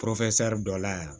dɔ la yan